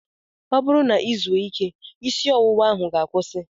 Ọ bụrụ na I zuo ike, isi ọwụwa ahụ ga-akwusi